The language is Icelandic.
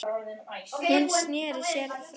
Hún sneri sér frá mér.